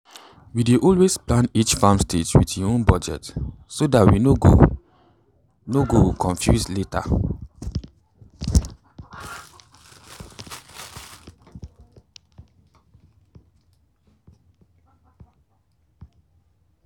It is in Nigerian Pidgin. we dey always plan each farm stage with e own budget so dat we no go no go confuse later.